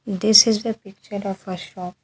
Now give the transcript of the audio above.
This is the picture of a shop.